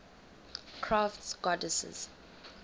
crafts goddesses